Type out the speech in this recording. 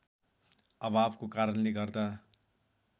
अभावको कारणले गर्दा